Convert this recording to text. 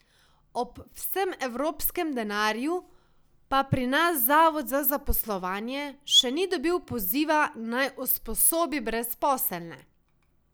Ob vsem evropskem denarju pa pri nas zavod za zaposlovanje še ni dobil poziva, naj usposobi brezposelne.